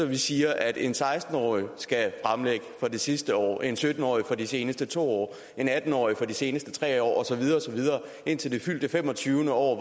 kan sige at en seksten årig skal fremlægge for det sidste år en sytten årig for de seneste to år en atten årig for de seneste tre år og så videre og så videre indtil det fyldte femogtyvende år og